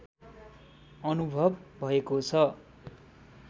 अनुभव भएको छ